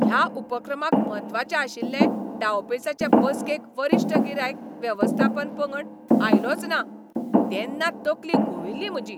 ह्या उपक्रमाक म्हत्वाचे आशिल्ले डावपेंचाचे बसकेक वरिश्ठ गिरायक वेवस्थापन पंगड आयलोच ना तेन्ना तकली घुंविल्ली म्हजी.